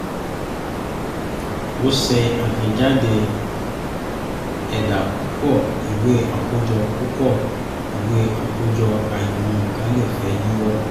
ó ṣe àtẹ̀jáde ẹ̀dà púpọ̀ ìwé àkójọ púpọ̀ ìwé àkójọ àìmọ́ nǹkan lè fẹ́ yíwọ́